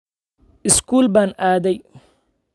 Iskuul baan aaday